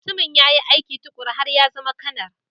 Mutumin ya yi aiki tuƙuru har ya zama Kanar